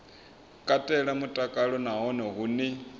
katela mutakalo na hone hune